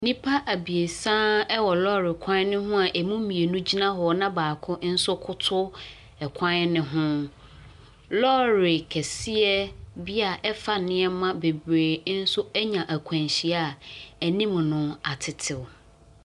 Nnipa abiesa wɔ lorry kwan no ho a emu mmienu gyina hɔ na baako nso koto ɛkwan no ho. Lorry kɛseɛ bi a ɛfa nneɛma bebree nso anya akwanhyia a anim no atetew.